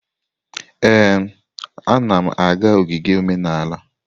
Ee, anam aga ogige omenala.